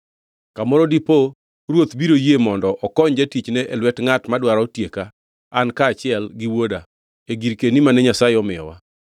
Kamoro dipo ruoth biro yie mondo okony jatichne e lwet ngʼat madwaro tieka an kaachiel gi wuoda e girkeni mane Nyasaye omiyowa.’